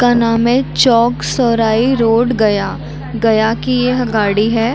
--का नाम है चौक सौराई रोड गया गया की यह गाड़ी है।